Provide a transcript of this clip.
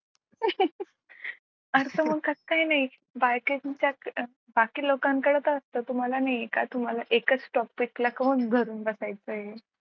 मग कसं काय नाही बायकांच्या बाकी लोकांकडे तर असतं तुम्हाला नाही आहे का तुम्हाला एकाच topic ला का धरून बसायचं आहे.